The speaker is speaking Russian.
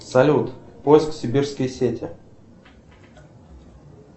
салют поиск сибирские сети